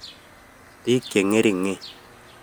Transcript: Piik cheng'ering'en